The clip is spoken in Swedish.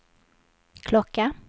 klocka